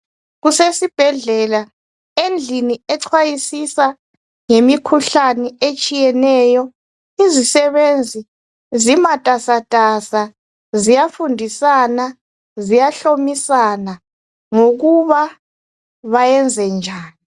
Kusesibhedlela endlini ecwayisisa ngemikhuhlane etshiyeneyo. Izisebenzi zimatasatasa ziyafundisana, ziyahlomisana ngokuba bayenze njani.